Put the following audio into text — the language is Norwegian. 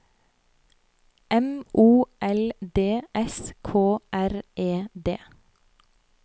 M O L D S K R E D